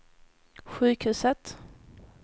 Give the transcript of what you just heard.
sjukhuset